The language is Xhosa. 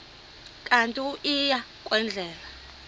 kanti uia kwendela